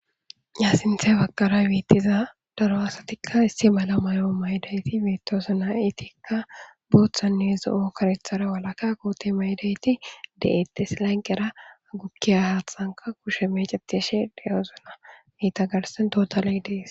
yasinthey baqara wiittiza daro asatikka issi mala mayo maydayti miittosanayitikka booththannizo7okarethara walaka koote maydayti de7ette silanqera agupkiya haathanka kushe meceteshe de7ozuna mitagarsen totaley dees